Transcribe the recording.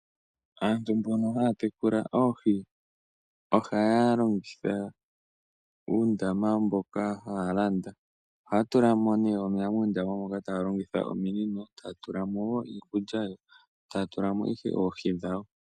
Aantu mbono haya tekula Oohi ohaya longitha uundama mboka haya landa. Ohaya tula mo ne omeya muundama moka taya longitha omunino, taya tula mo wo iikulya, taya tula mo ihe Oohi dhawo.